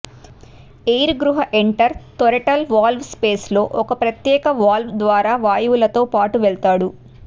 air గృహ enter throttle valve space లో ఒక ప్రత్యేక వాల్వ్ ద్వారా వాయువులతో పాటు వెళ్తాడు